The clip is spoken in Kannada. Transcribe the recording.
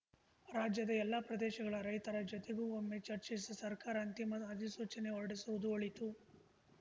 ರಾಜ್ಯದ ಎಲ್ಲಾ ಪ್ರದೇಶಗಳ ರೈತರ ಜೊತೆಗೂ ಒಮ್ಮೆ ಚರ್ಚಿಸಿ ಸರ್ಕಾರ ಅಂತಿಮ ಅಧಿಸೂಚನೆ ಹೊರಡಿಸುವುದು ಒಳಿತು